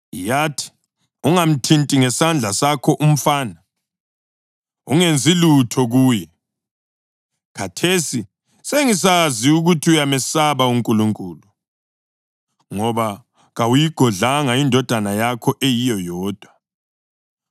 Yathi, “Ungamthinti ngesandla sakho umfana. Ungenzi lutho kuye. Khathesi sengisazi ukuthi uyamesaba uNkulunkulu, ngoba kawuyigodlanga indodana yakho eyiyo yodwa.”